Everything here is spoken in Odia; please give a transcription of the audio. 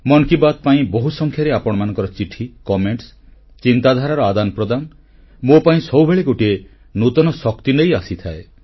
ମନ କି ବାତ୍ ପାଇଁ ବହୁ ସଂଖ୍ୟାରେ ଆପଣମାନଙ୍କ ଚିଠି ମତାମତ ଚିନ୍ତାଧାରାର ଆଦାନ ପ୍ରଦାନ ମୋ ପାଇଁ ସବୁବେଳେ ଗୋଟିଏ ନୂତନ ଶକ୍ତି ନେଇ ଆସିଥାଏ